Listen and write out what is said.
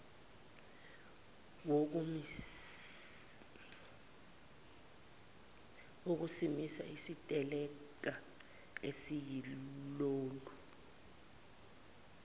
wokusimisa isiteleka esiyilolu